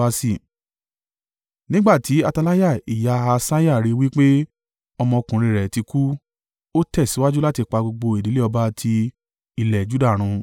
Nígbà tí Ataliah ìyá Ahasiah rí i wí pé ọmọkùnrin rẹ̀ ti kú, ó tẹ̀síwájú láti pa gbogbo ìdílé ọba ti ilẹ̀ Juda run.